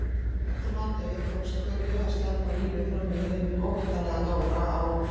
Eftir hádegi tókst Kötu að sleppa á lífi framhjá hinum óttalega Dóra á